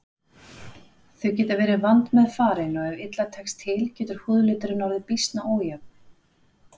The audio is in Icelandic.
Þau geta verið vandmeðfarin og ef illa tekst til getur húðliturinn orðið býsna ójafn.